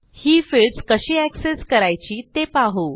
ही fields कशी access करायची ते पाहू